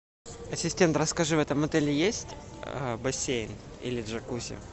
ассистент расскажи в этом отеле есть бассейн или джакузи